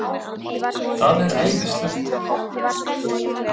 Það er æðislegt.